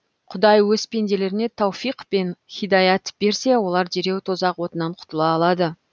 құдай өз пенделеріне тауфиқ пен һидаят берсе олар дереу тозақ отынан құтыла алады